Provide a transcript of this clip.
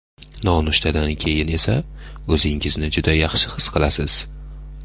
Nonushtadan keyin esa o‘zingizni juda yaxshi his qilasiz.